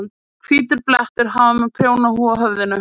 Hvítur blettur. hann var með prjónahúfu á höfðinu.